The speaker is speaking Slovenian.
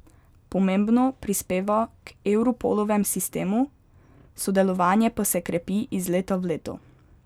Pomembno prispeva k Europolovem sistemu, sodelovanje pa se krepi iz leta v leto.